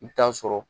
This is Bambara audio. I bɛ taa sɔrɔ